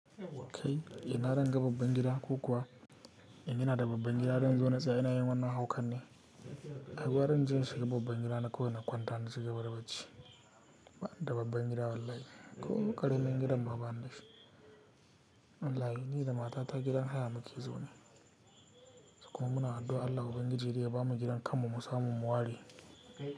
Kai, ina zanga babban gida ku kuwa, in ina da babban gida, zan zo na tsaya ina yin wannan haukan ne. Ai gwara inje in shiga babban gidana kawai na kwanta na cigaba da bacci. Bani da babban gida wallahi, ko ƙaramin gidan ma banida shi. Wallahi ni da matata gidan haya muke zaune. Kuma muna addu'ar Allah ubangiji dai ya bamu gidan kanmu mu samu mu ware.